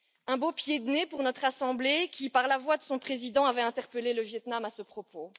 Un beau pied de nez pour notre assemblée qui, par la voix de son président, avait interpellé le Viêt Nam à ce propos.